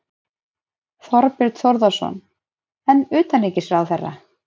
Þorbjörn Þórðarson: En utanríkisráðherra?